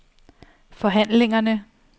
forhandlingerne